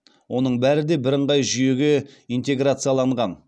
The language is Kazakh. оның бәрі де бірыңғай жүйеге интеграцияланған